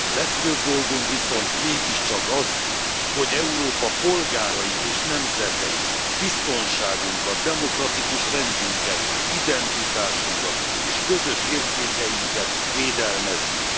Legfőbb dolgunk viszont mégiscsak az, hogy Európa polgárait és nemzeteit, biztonságunkat, demokratikus rendünket, identitásunkat és közös értékeinket védelmezzük.